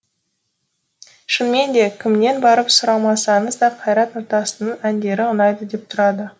шынымен де кімнен барып сұрамасаныз да қайрат нұртастың әндері ұнайды деп тұрады